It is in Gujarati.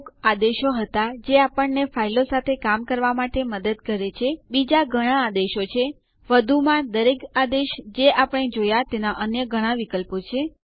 મૌખિક ટ્યુટોરિયલોનું જૂથ મૌખિક ટ્યુટોરિયલોની મદદથી વર્કશોપ આયોજિત કરે છે